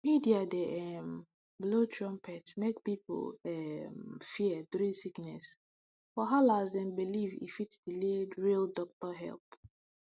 media dey um blow trumpet make people um fear during sickness wahala as dem believe e fit delay real doctor help